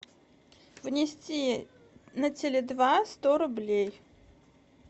внести на теле два сто рублей